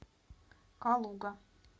калуга